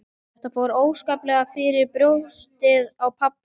Þetta fór óskaplega fyrir brjóstið á pabba.